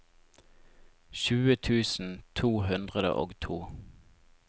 tjue tusen to hundre og to